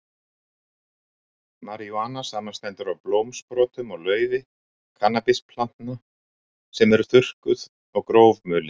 Marijúana samanstendur af blómsprotum og laufi kannabisplantna sem eru þurrkuð og grófmulin.